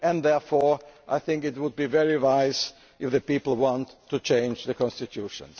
Therefore, I think it would be wise, if the people want, to change the constitution.